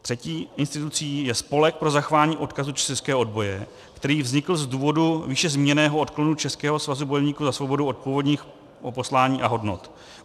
Třetí institucí je Spolek pro zachování odkazu českého odboje, který vznikl z důvodu výše zmíněného odklonu Českého svazu bojovníků za svobodu od původního poslání a hodnot.